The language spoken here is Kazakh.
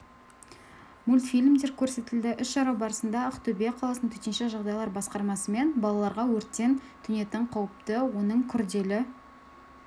мультфильмдер көрсетілді іс-шара барысында ақтөбе қаласының төтенше жағдайлар басқармасымен балаларға өрттен төнетін қауіпті оның күрделі